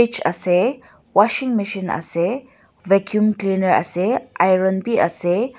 ase washing machine ase vaccum cleaner ase iron biase.